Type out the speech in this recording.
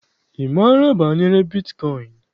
Ị maara banyere bitkọịn?